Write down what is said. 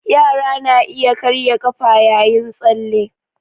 Yara na iya karya ƙafa yayin tsalle